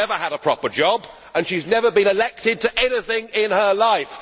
She has never had a proper job, and she has never been elected to anything in her life.